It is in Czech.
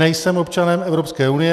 Nejsem občanem Evropské unie.